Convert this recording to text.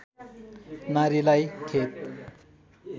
नारीलाई खेत